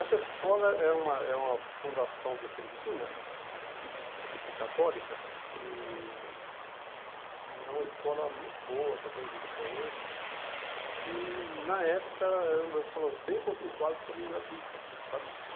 Essa escola é uma é uma fundação vicentina, católica, e e é uma escola muito boa, que até existe até hoje, que na época era uma das escolas bem conceituadas, porém gratuita, sabe?